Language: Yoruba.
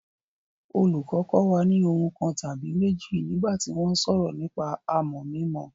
Olùkọ́ kọ́ wa ní ohun kan tàbí méjì nígbà tí wọ́n ń sọ̀rọ̀ nípa àmọ̀ mímọ.